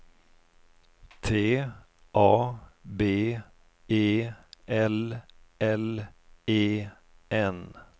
T A B E L L E N